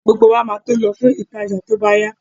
Gbogbo wa máa tó lọ fún ìtajà tó bá yá